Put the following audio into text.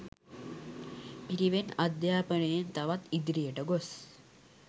පිරිවෙන් අධ්‍යාපනයෙන් තවත් ඉදිරියට ගොස්